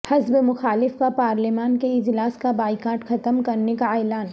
حزب مخالف کا پارلیمان کے اجلاس کا بائیکاٹ ختم کرنے کا اعلان